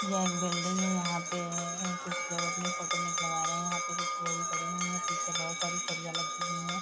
यह एक बिल्डिंग है यहाँ पे एए कुछ लोग अपनी फोटो निकलवा रहे हैं यहाँ पे कुछ बोरी पड़ी हुई हैं पीछे बहोत सारी सरिया लगी हुई हैं।